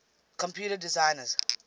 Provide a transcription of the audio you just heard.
computer designers